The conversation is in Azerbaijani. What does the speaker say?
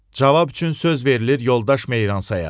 Cavab üçün söz verilir yoldaş Meyransaya.